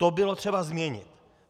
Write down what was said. To bylo třeba změnit.